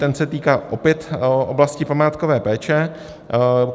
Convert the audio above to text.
Ten se týká opět oblasti památkové péče.